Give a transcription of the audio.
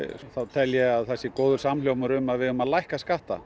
þá tel ég að það sé góður samhljómur um að við eigum að lækka skatta